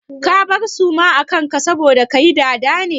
Ka bar suma a kan ka saboda kayi dada ne?